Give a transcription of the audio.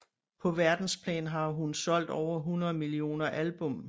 På verdensplan har hun solgt over 100 millioner album